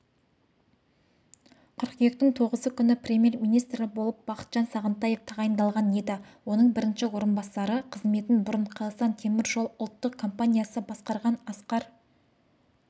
қыркүйектің тоғызы күні премьер-министрі болып бақытжан сағынтаев тағайындалған еді оның бірінші орынбасары қызметін бұрын қазақстан темір жолы ұлттық компаниясы басқарған асқар